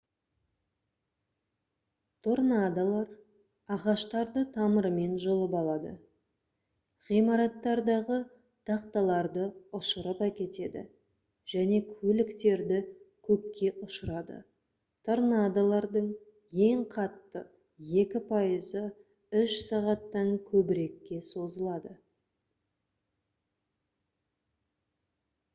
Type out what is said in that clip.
торнадолар ағаштарды тамырымен жұлып алады ғимараттардағы тақталарды ұшырып әкетеді және көліктерді көкке ұшырады торнадолардың ең қатты екі пайызы үш сағаттан көбірекке созылады